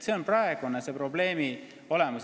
See on praeguse probleemi olemus.